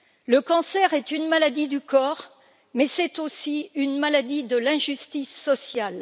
Le cancer est une maladie du corps, mais c'est aussi une maladie de l'injustice sociale.